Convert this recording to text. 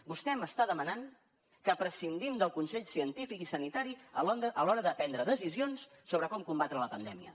vostè m’està demanant que prescindim del consell científic i sanitari a l’hora de prendre decisions sobre com combatre la pandèmia